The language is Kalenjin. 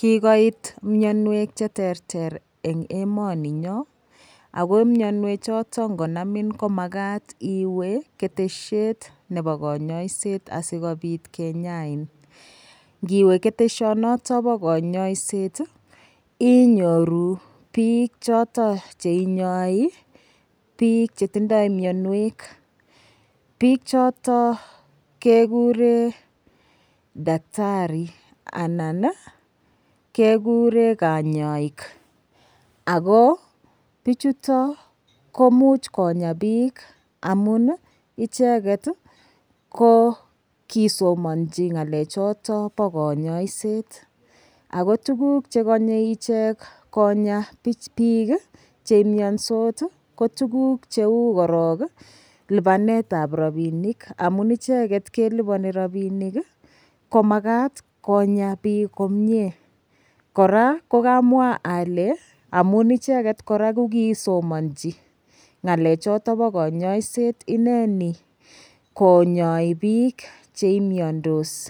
Kikoit miyonwek cheterter eng' emoninyo ako miyonwe choto ngonamin ko makat iwe keteshiet nebo kanyaiset asikobit kenyain ngiwe keteshonoto bo kanyaiset inyoru biik choto cheinyoi biik chetindoi miyonwek biik chotok kekure daktari anan kekure kanyaik ako bichuton komuuch Konya biik amun icheget ko kisomonji ngalechoto bo kanyaiset ako tukuk chekonyei ichek konya biik cheimyondot ko tukuk cheu korok lipanetab rapinik amun icheget kelipani rapinik komakat konya biik komyee kora kukamwa ale amun icheget kora kokisomonji ng'alechoto bo kanyaiset ineni konyoi biik cheimyondos